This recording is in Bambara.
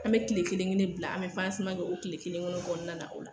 An bɛ tile kelen-kelen bila an bɛ kɛ o tile kelen-kelen kɔɔna na o la.